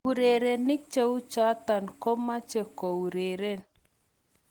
Urerenik cheu chotok komeche koureren